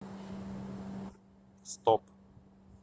стоп